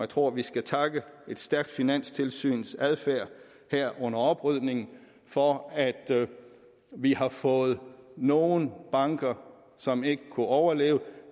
tror vi skal takke et stærkt finanstilsyns adfærd her under oprydningen for at vi har fået nogle banker som ikke kunne overleve